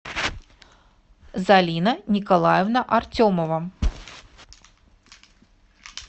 залина николаевна артемова